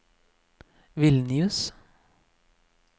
Vilnius